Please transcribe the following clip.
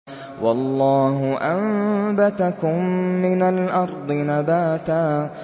وَاللَّهُ أَنبَتَكُم مِّنَ الْأَرْضِ نَبَاتًا